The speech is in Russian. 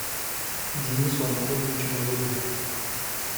денису анатольевичу давыдову